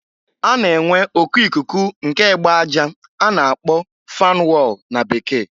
A na-enwe oku ikuku nke egbe aja a na-akpo fan wall na Bekee.